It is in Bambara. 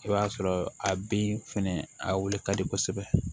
I b'a sɔrɔ a bin fɛnɛ a wuli ka di kosɛbɛ